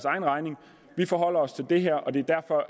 egen regning vi forholder os til det her og det